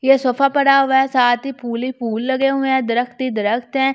ये सोफा पड़ा हुआ है साथ ही फूल ही फूल लगे हुए हैं दरख्त ही दरख्त है।